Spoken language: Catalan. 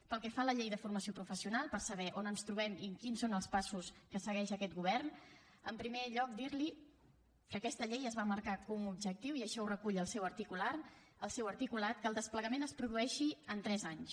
pel que fa a la llei de formació professional per saber on ens trobem i quins són els passos que segueix aquest govern en primer lloc dir li que aquesta llei es va marcar com a objectiu i així ho recull el seu articulat que el desplegament es produeixi en tres anys